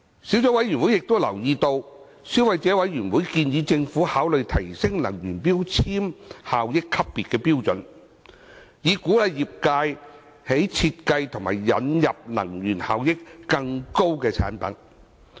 小組委員會亦留意到，消費者委員會建議政府考慮提升能源效益級別標準，以鼓勵業界設計和引入能源效益更高的產品。